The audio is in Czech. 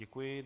Děkuji.